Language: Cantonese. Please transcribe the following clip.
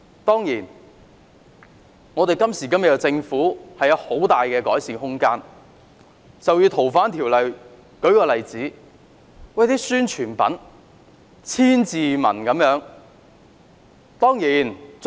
當然今時今日的政府有很大的改善空間，就以修訂《逃犯條例》為例，宣傳品如千字文般。